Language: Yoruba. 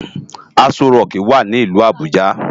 Asó ròki wá ni ilù Abuja